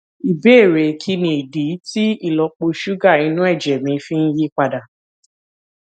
ìbéèrè kí nìdí tí ìlópo ṣúgà inú èjè mi fi ń yí padà